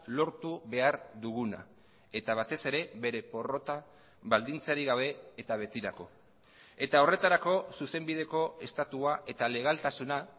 lortu behar duguna eta batez ere bere porrota baldintzarik gabe eta betirako eta horretarako zuzenbideko estatua eta legaltasuna